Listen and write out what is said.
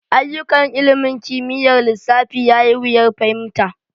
Ayyukan ilimin kimiyyar lissafi ya yi wuyar fahimta.